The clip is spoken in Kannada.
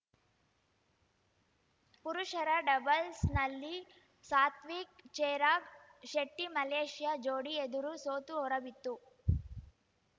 ಪುರುಷರ ಡಬಲ್ಸ್‌ನಲ್ಲಿ ಸಾತ್ವಿಕ್‌ಚಿರಾಗ್‌ ಶೆಟ್ಟಿಮಲೇಷ್ಯಾ ಜೋಡಿ ಎದುರು ಸೋತು ಹೊರಬಿತ್ತು